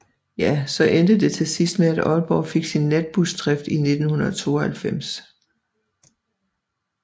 Ja så endte det til sidst med at Aalborg fik sin natbusdrift i 1992